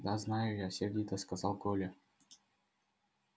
да знаю я сердито сказал коля